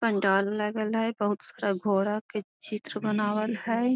पंडाल लागल है बहुत सारा घोड़ा के चित्र बनवल हई।